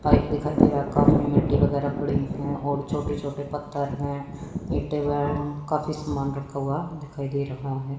Pipe दिखाई दे रहा काफी मिट्टी वगैरह पड़ी है और छोटे छोटे पत्थर हैं ईंटे हैं काफी सामान रखा हुआ दिखाई दे रहा है।